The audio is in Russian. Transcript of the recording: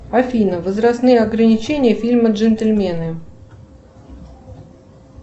афина возрастные ограничения фильма джентльмены